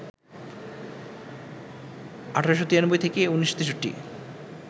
১৮৯৩ - ১৯৬৩